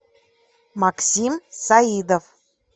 максим саидов